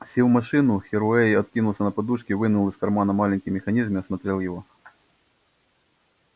сев в машину херроуэй откинулся на подушки вынул из кармана маленький механизм и осмотрел его